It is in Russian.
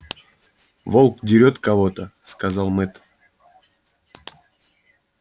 волк дерёт кого то сказал мэтт